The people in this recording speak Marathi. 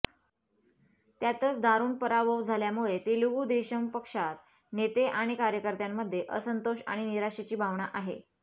त्यातच दारुण पराभव झाल्यामुळे तेलुगू देशम पक्षात नेते आणि कार्यकर्त्यांमध्ये असंतोष आणि निराशेची भावना आहे